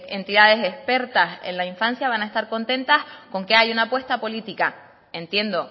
entidades expertas en la infancia van a estar contentas con que haya una apuesta política entiendo